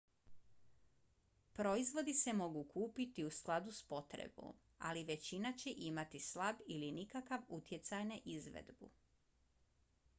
proizvodi se mogu kupiti u skladu s potrebom ali većina će imati slab ili nikakav utjecaj na izvedbu